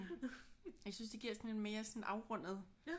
Jeg synes det giver sådan en mere sådan afrundet